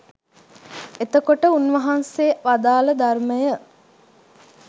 එතකොට උන්වහන්සේ වදාළ ධර්මය